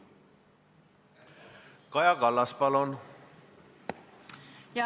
Kaja Kallas, palun!